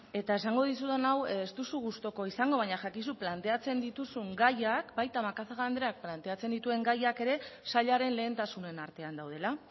eta esango dizudan hau ez duzu gustuko izango baina jakizu planteatzen dituzun gaiak baita macazaga andreak planteatzen dituen gaiak ere sailaren lehentasunen artean daudela